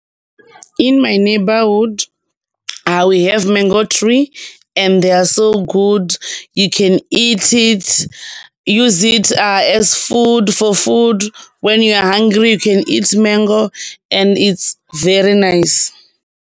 In my neigbourhood, we have mango tree, and they are so good, you can eat it, use it as food for food, when you are hungry you can eat mango and it's very nice.